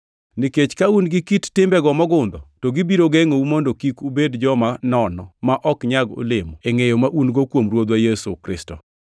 Nikech ka un gi kit timbego mogundho, to gibiro gengʼou mondo kik ubed joma nono ma ok nyag olemo e ngʼeyo ma un-go kuom Ruodhwa Yesu Kristo.